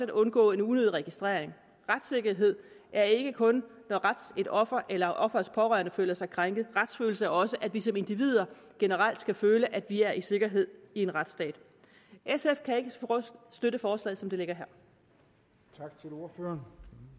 undgå en unødig registrering retssikkerhed er ikke kun når et offer eller offerets pårørende føler sig krænket retsfølelse er også at vi som individer generelt skal føle at vi er i sikkerhed i en retsstat sf kan ikke støtte forslaget som det ligger her